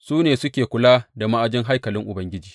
Su ne suke kula da ma’ajin haikalin Ubangiji.